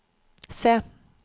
se